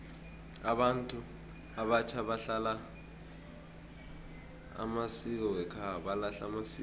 abantu abatjha balahla amasiko wekhabo